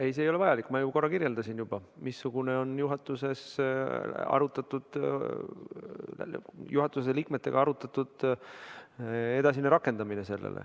Ei, see ei ole vajalik, ma ju korra kirjeldasin juba, missugune on juhatuse liikmetega arutatud edasine rakendamine.